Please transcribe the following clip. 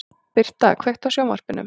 Birta, kveiktu á sjónvarpinu.